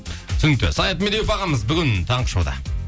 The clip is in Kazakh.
түсінікті саят медеуов ағамыз бүгін таңғы шоуда